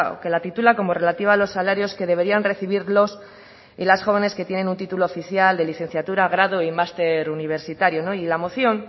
que la titula como relativa a los salarios que deberían recibir los y las jóvenes que tienen un título oficial de licenciatura grado y máster universitario y la moción